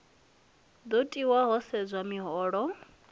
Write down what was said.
do tiwa ho sedzwa miholo